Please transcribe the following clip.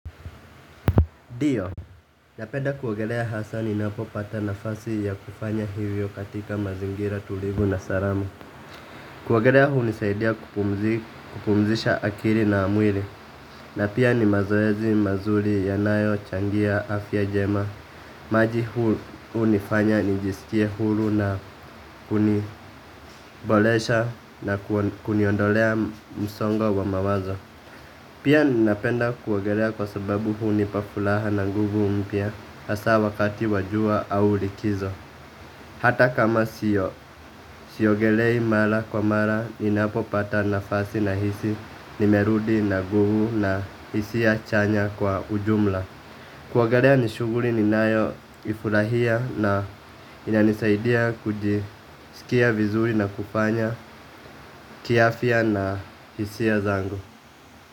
Ndiyo, napenda kuogelea hasaa ninapopata nafasi ya kufanya hivyo katika mazingira tulivu na salama. Kuogelea hunisaidia kupumzisha akili na mwili. Na pia ni mazoezi mazuri yanayochangia afya njema. Maji hunifanya nijiskie huru na kuniboresha na kuniondolea msongo wa mawazo. Pia ninapenda kuogelea kwa sababu hunipa furaha na nguvu mpya. Hasaa wakati wa jua au likizo. Hata kama sio siogelei mara kwa mara ninapo pata nafasi nahisi nimerudi na nguvu na hisia chanya kwa ujumla. Kuogelea ni shughuli ninayoifurahia na inanisaidia kujisikia vizuri na kufanya kiafya na hisia zangu.